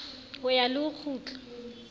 ho ya le ho kgiutla